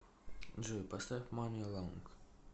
джой мани лонг